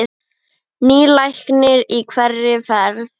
Nýr læknir í hverri ferð.